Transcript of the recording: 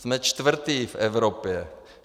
Jsme čtvrtí v Evropě.